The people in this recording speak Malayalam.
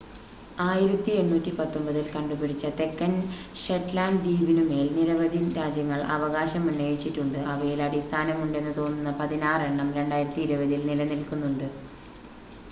1819 ൽ കണ്ടുപിടിച്ച തെക്കൻ ഷെറ്റ്ലാൻ്റ് ദ്വീപിനുമേൽ നിരവധി രാജ്യങ്ങൾ അവകാശമുന്നയിച്ചിട്ടുണ്ട് അവയിൽ അടിസ്ഥാനമുണ്ടെന്ന് തോന്നുന്ന പതിനാറെണ്ണം 2020 ൽ നിലനിൽക്കുന്നുണ്ട്